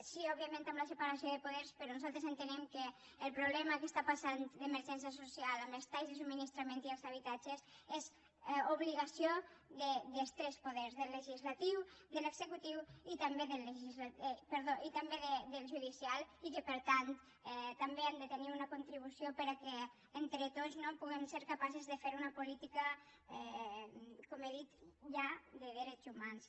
sí òbviament amb la separació de poders però nosaltres entenem que el problema que està passant d’emergència social amb els talls de subministrament i els d’habitatges és obligació dels tres poders del legislatiu de l’executiu i també del judicial i que per tant també han de tenir una contribució perquè entre tots no puguem ser capaces de fer una política com he dit ja de drets humans